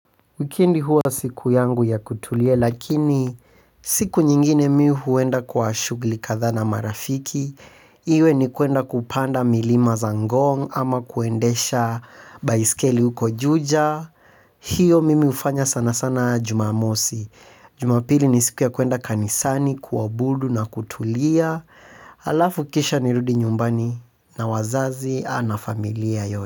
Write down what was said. Wikendi huwa siku yangu ya kutulia lakini siku nyingine mimi huenda kwa shughuli kadhaa na marafiki. Iwe ni kwenda kupanda milima za ngong ama kuendesha baiskeli huko juja. Hiyo mimi hufanya sana sana Jumamosi. Jumapili ni siku ya kwenda kanisani kuabudu na kutulia. Alafu kisha nirudi nyumbani na wazazi na familia yote.